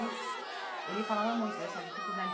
E ele falava muito dessa dificuldade.